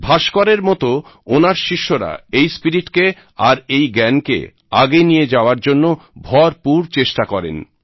ভাস্করের মত ওনার শিষ্যরা এই স্পিরিটকে আর এই জ্ঞানকে আগে নিয়ে যাওয়ার জন্য ভরপুর চেষ্টা করেন